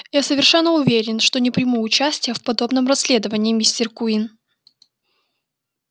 я совершенно уверен что не приму участия в подобном расследовании мистер куинн